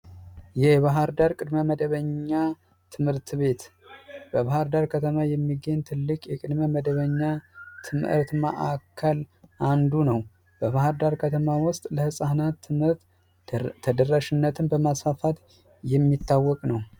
የባህር ዳር ቅድመ መደበኛ ትምህርት ቤት በባህርዳር ከተማ የሚገኝ ትልቅ የቅድመ መደበኛ ትምህርት ማዕከል አንዱ ነው። በባህርዳር ከተማ ውስጥ ለህፃናት ትምህርት ተደራሽነትን በማስፋፋት የሚታወቅ ነው።